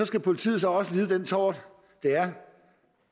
skal politiet så også lide den tort det er